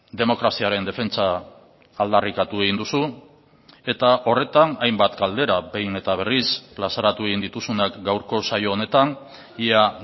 demokraziaren defentsa aldarrikatu egin duzu eta horretan hainbat galdera behin eta berriz plazaratu egin dituzunak gaurko saio honetan ia